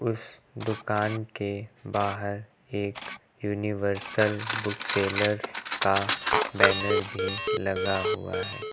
उस दुकान के बाहर एक यूनिवर्सल बुक सेलर्स का बैनर भी लगा हुआ है।